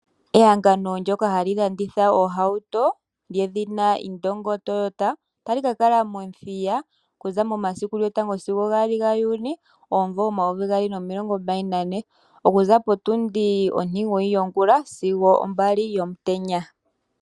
Ehangano ndyoka hali landitha oohauto lyedhina Iindongo Toyota otali kakala momuthiya okuza momasiku lyotango sigo gaali gaJuuni omumvo omayovi gaali nomilongo mbali nane okuza potundi ontimugoyi yongula sigo opo mbali yomutenya.